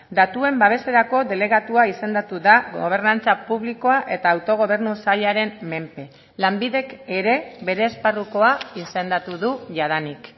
datuen babeserako delegatua izendatu da gobernantza publikoa eta autogobernu sailaren menpe lanbidek ere bere esparrukoa izendatu du jadanik